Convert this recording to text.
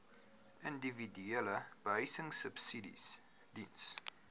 individuele behuisingsubsidies diens